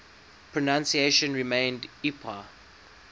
pronunciation remained ipa